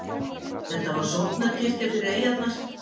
Þetta var sóknarkirkja fyrir eyjarnar.